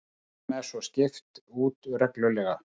Tegundum er svo skipt út reglulega